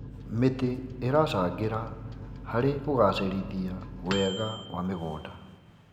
Mĩtĩ ĩracangĩra harĩ kũgacĩrithia wega wa mĩgũnda.